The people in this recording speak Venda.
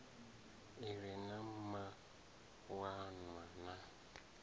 i re na mawanwa na